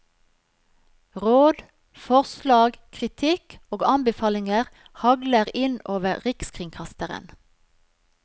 Råd, forslag, kritikk og anbefalinger hagler inn over rikskringkasteren.